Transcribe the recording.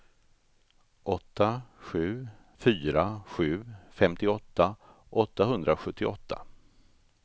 åtta sju fyra sju femtioåtta åttahundrasjuttioåtta